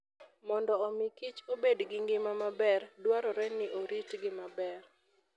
Mondo omi kich obed gi ngima maber, dwarore ni oritgi maber.